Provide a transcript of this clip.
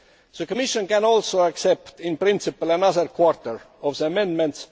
The Commission can also accept in principle another quarter of the amendments.